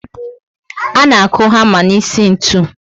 A na aku hama n'isi ntụ